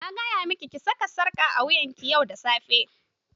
Na gaya miki ki saka sarƙa a wuyan ki yau da safe.